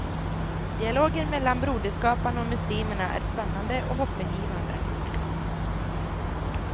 Dialogen mellan broderskaparna och muslimerna är spännande och hoppingivande.